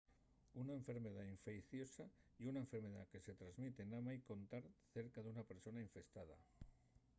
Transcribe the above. una enfermedá infeiciosa ye una enfermedá que se tresmite namái con tar cerca d'una persona infestada